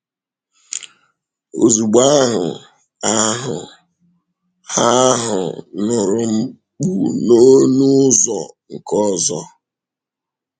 Ozugbo ahụ, ahụ ha ahụ nụrụ mkpù n’ọnụ ụzọ nke ọzọ.